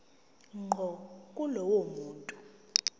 ngqo kulowo muntu